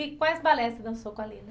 E quais balés você dançou com a Lina?